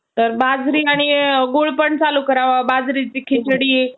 यावेतिरिक्त आणखीन काही व्येक्तीचा समावेश होता त्यांनी देशाचा आधुनिक राष्ट्र म्हणून विकास करणे